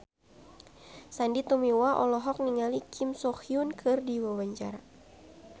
Sandy Tumiwa olohok ningali Kim So Hyun keur diwawancara